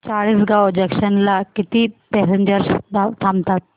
Chalisgaon junction ला किती passengers थांबतात